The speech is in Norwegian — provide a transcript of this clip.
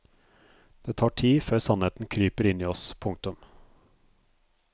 Det tar tid før sannheten kryper inn i oss. punktum